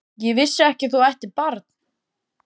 Ég vissi ekki að þú ættir barn?